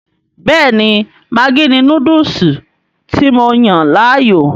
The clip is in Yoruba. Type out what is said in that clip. Bẹ́ẹ̀ni maggi ni Núdùùsù tí mo yàn láàyò